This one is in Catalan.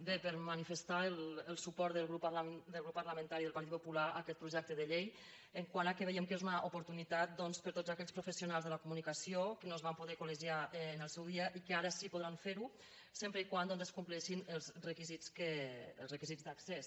bé per manifestar el suport del grup parlamentari del partit popular a aquest projecte de llei quant al fet que veiem que és una oportunitat doncs per a tots aquells professionals de la comunicació que no es van poder col·legiar en el seu dia i que ara sí podran ferho sempre que se’n compleixin els requisits d’accés